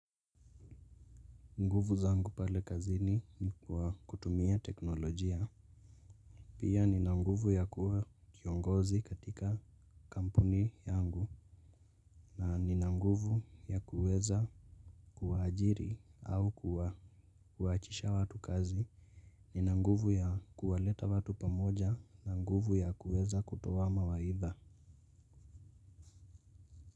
Nguvu zangu pale kazini kwa kutumia teknolojia. Pia nina nguvu ya kuwa kiongozi katika kampuni yangu. Na nina nguvu ya kuweza kuwa ajiri au kuwa. Kuachisha watu kazi. Nina nguvu ya kuwaleta watu pamoja na nguvu ya kuweza kutoa mawaidha.